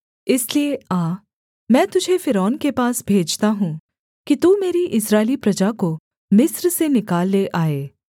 इसलिए आ मैं तुझे फ़िरौन के पास भेजता हूँ कि तू मेरी इस्राएली प्रजा को मिस्र से निकाल ले आए